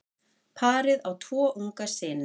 Parið á tvo unga syni.